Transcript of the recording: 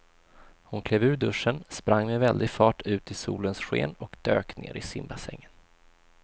Hon klev ur duschen, sprang med väldig fart ut i solens sken och dök ner i simbassängen.